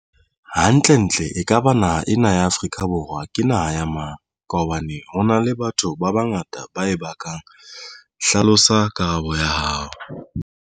Ha ntle ntle ekaba naha ena ya Afrika Borwa ke naha ya mang, ka hobane honale le batho ba ngata ba e bakang. Hlalosa Karabo ya hao.